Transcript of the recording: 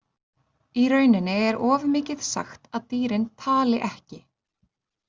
Í rauninni er of mikið sagt að dýrin „tali ekki“.